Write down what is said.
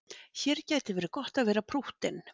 Hér gæti verið gott að vera prúttinn.